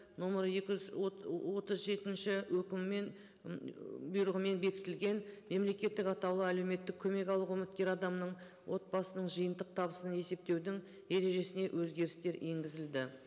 нөмірі екі жүз отыз жетінші өкімімен бұйрығымен бекітілген мемлекеттік атаулы әлеуметтік көмек алуға үміткер адамның отбасының жиынтық табысының есептеудің ережесіне өзгерістер енгізілді